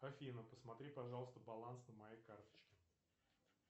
афина посмотри пожалуйста баланс на моей карточке